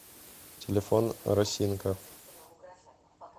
телефон росинка